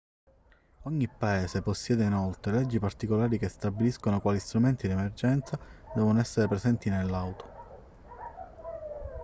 ogni paese possiede inoltre leggi particolari che stabiliscono quali strumenti di emergenza devono essere presenti nell'auto